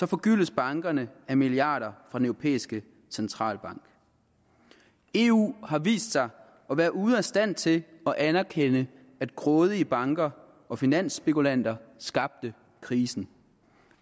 forgyldes bankerne af milliarder fra den europæiske centralbank eu har vist sig at være ude af stand til at anerkende at grådige banker og finansspekulanter skabte krisen